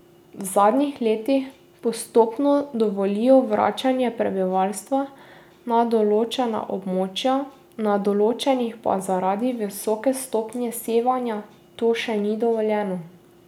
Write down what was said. V zadnjih letih postopno dovolijo vračanje prebivalstva na določena območja, na določnih pa zaradi visoke stopnje sevanja to še ni dovoljeno.